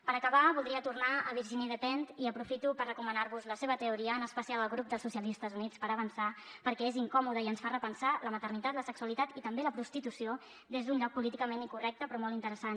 per acabar voldria tornar a virginie despentes i aprofito per recomanar vos la seva teoria en especial al grup dels socialistes i units per avançar perquè és incòmoda i ens fa repensar la maternitat la sexualitat i també la prostitució des d’un lloc políticament incorrecte però molt interessant